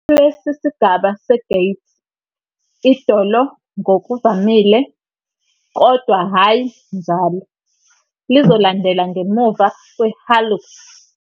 Kulesi sigaba se-gait, idolo ngokuvamile, kodwa hhayi njalo, lizolandela ngemuva kwe- hallux.